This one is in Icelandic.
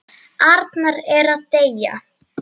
Arnar er að deyja.